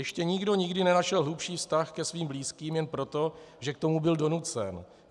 Ještě nikdo nikdy nenašel hlubší vztah ke svým blízkým jenom proto, že k tomu byl donucen.